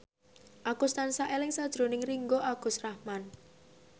Agus tansah eling sakjroning Ringgo Agus Rahman